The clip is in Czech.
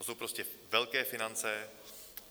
To jsou prostě velké finance.